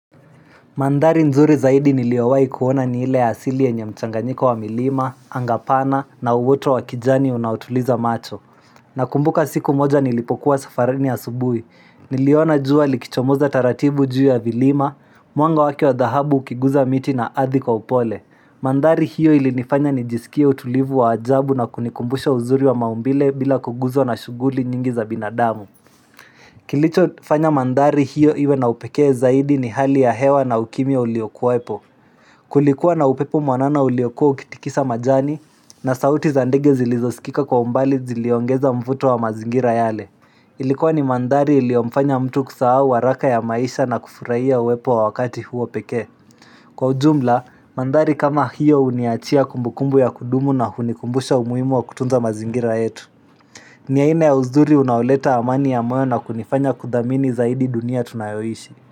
Mandhari nzuri zaidi niliowai kuona ni ile asili yenye mchanganyiko wa milima, anga pana na uwoto wa kijani unaotuliza macho. Na kumbuka siku moja nilipokuwa safarini ya subui. Niliona jua likichomoza taratibu juu ya vilima, mwanga wake wa dhahabu ukiguza miti na ardhi kwa upole. Mandhari hiyo ilinifanya nijisikie utulivu wa ajabu na kunikumbusha uzuri wa maumbile bila kuguzwa na shuguli nyingi za binadamu. Kilicho fanya mandhari hiyo iwe na upekee zaidi ni hali ya hewa na ukimya uliokuwepo Kulikuwa na upepo mwanana uliokuwa ukitikisa majani na sauti za ndege zilizosikika kwa mbali ziliongeza mvuto wa mazingira yale Ilikuwa ni mandhari iliomfanya mtu kusahau waraka ya maisha na kufuraia uwepo wa wakati huo pekee Kwa ujumla, mandhari kama hiyo uniachia kumbukumbu ya kudumu na hunikumbusha umuhimu wa kutunza mazingira yetu ni aina ya uzuri unaoleta amani ya moyo na kunifanya kudhamini zaidi dunia tunayoishi.